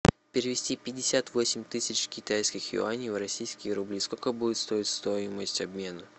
перевести пятьдесят восемь тысяч китайских юаней в российские рубли сколько будет стоить стоимость обмена